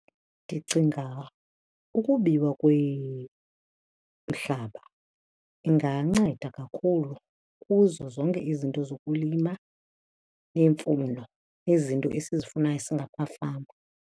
Ndicinga ukubiwa kwemihlaba inganceda kakhulu kuzo zonke izinto zokulima neemfuyo, izinto esizifumanayo singamafama.